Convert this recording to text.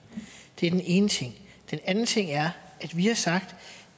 det er den ene ting den anden ting er at vi har sagt